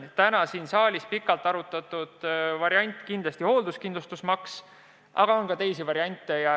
Siin saalis sai pikalt arutatud hoolduskindlustusmaksu, aga on ka teisi variante.